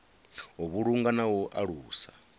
u vhulunga na u alusa